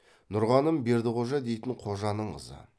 нұрғаным бердіқожа дейтін қожаның қызы